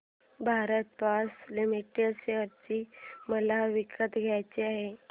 Bharat forge limited share मला विकत घ्यायचे आहेत